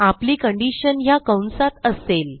आपली कंडिशन ह्या कंसात असेल